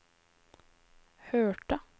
hørte